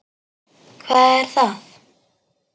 Hvar er það?